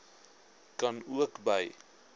kan ook by